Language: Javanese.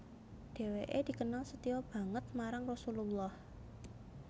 Dhewke dikenal setya banget marang Rasulullah